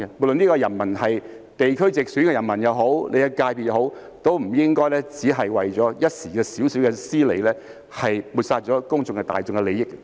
不論這些人民是屬於地區直選還是自己的所屬界別，也不應只為了一時小小的私利，抹煞大眾的利益。